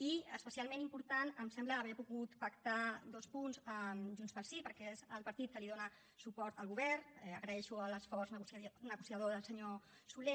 i especialment important em sembla haver pogut pactar dos punts amb junts pel sí perquè és el partit que li dona suport al govern agraeixo l’esforç negociador del senyor solé